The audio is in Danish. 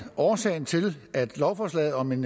at årsagen til at lovforslaget om en